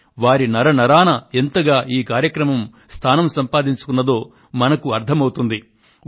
ఈ కార్యక్రమం వారి నరనరాన ఎంతగా స్థానం సంపాదించుకుందో మనకు అర్థమవుతుంది